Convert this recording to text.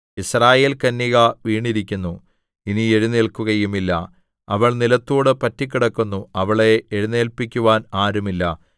യിസ്രായേൽകന്യക വീണിരിക്കുന്നു ഇനി എഴുന്നേൽക്കുകയും ഇല്ല അവൾ നിലത്തോട് പറ്റിക്കിടക്കുന്നു അവളെ എഴുന്നേൽപ്പിക്കുവാൻ ആരുമില്ല